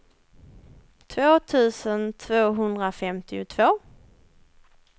två tusen tvåhundrafemtiotvå